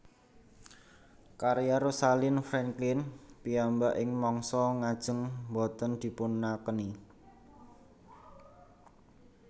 Karya Rosalind Franklin piyambak ing mangsa ngajeng boten dipunakeni